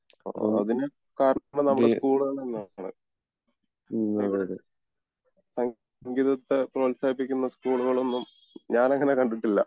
ആഹ് അതിന് കാരണം നമ്മുടെ സ്കൂളുകൾ തന്നേണ് ഇവിടെ സങ്കീതത്തെ പ്രോഹത്സാഹിപ്പിക്കുന്ന സ്കൂളുകൾ ഒന്നും ഞാൻ അങ്ങിനെ കണ്ടിട്ടില്ല